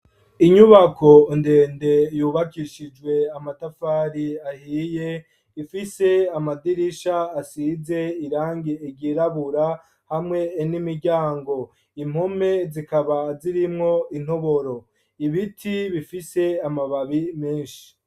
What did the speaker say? Inyubako ndende yubakishijwe amatafari ahiye, ifise amadirisha asize irangi ryirabura hamwe n'imiryango, impome zikaba zirimwo intoboro, ibiti bifise amababi menshi.